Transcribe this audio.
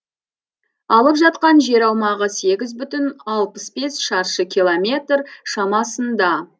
алып жатқан жер аумағы сегіз бүтін алпыс бес шаршы километр шамасында